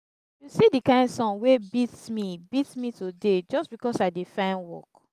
if you see the kin sun wey beat me beat me today just because i dey find work